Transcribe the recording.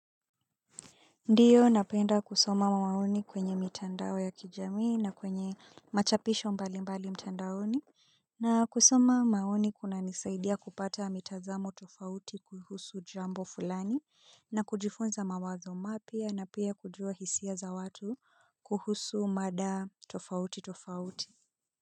Ndiyo napenda kusoma maoni kwenye mitandao ya kijamii na kwenye machapisho mbalimbali mtandaoni. Na kusoma maoni kunanisaidia kupata mitazamo tofauti kuhusu jambo fulani. Na kujifunza mawazo mapya na pia kujua hisia za watu kuhusu mada tofauti tofauti.